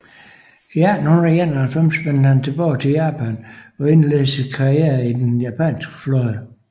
I 1891 vendte han tilbage til Japan og indledte sin karriere i den japanske flåde